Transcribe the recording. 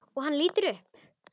Og hann lítur upp.